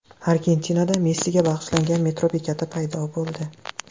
Argentinada Messiga bag‘ishlangan metro bekati paydo bo‘ldi .